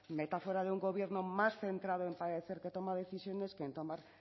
metáfora de un gobierno más centrado en parecer que toma decisiones que en tomar